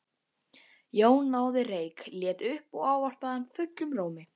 Jón náði reyk, leit upp og ávarpaði hann fullum rómi.